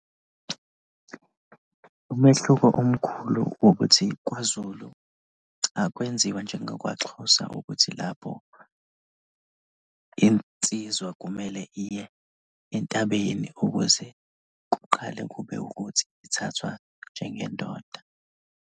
Umehluko omkhulu ukuthi kwaZulu akwenziwa njengakwaXhosa ukuthi lapho insizwa kumele iye entabeni ukuze kuqale kube ukuthi ithathwa njengendoda.